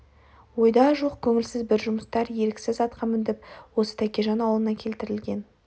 ойда жоқ көңілсіз бір жұмыстар еріксіз атқа міндіріп осы тәкежан аулына келтірген